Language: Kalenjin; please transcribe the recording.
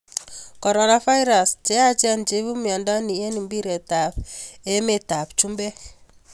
Coronavirus: Cheyachen cheibu mnyondo ni eng mbiret ab emer ab chumbek.